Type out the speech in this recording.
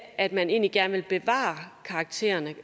at man egentlig gerne vil bevare karaktererne